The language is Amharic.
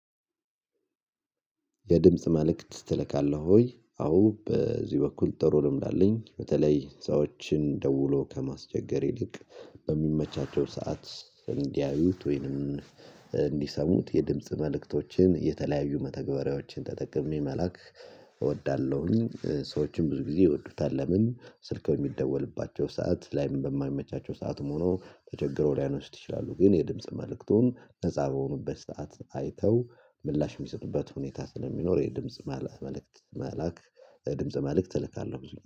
የድምጽ መልእክት ትልካለህ? ወይ አዎ በዚህ በኩል ጥሩ ልምድ አለኝ በተለይ ሰዎችን ደውሎ ከማስቸገር ይልቅ በሚመቻቸው ሰዓት እንዲያዩት ወይንም እንዲሰሙት የድምጽ መልእክቶችን የተለያዩ መተግበሪያዎችን ተጠቅሜ መላክ እወዳለሁኝ። ሰዎችን ብዙ ጊዜ ይወዱታል ለምን ስልክ የሚደወልባቸው ሰዓት ላይም በማይመቻቸው ሰዓትም ሆኖ ተቸግረው ሊያነሱት ይችላሉ። ግን የድምጽ መልእክቱን መጻብ የሆኑበት ሰዓት አይተው ምላሽ የሚሰጡበት ሁኔታ ስለሚኖረው የድምጽ መልእክት መላክ። ድምጽ መልእክት እልካለሁ ብዙኛው